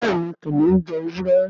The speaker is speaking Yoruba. béèni kìnìún jé ewúrẹ́.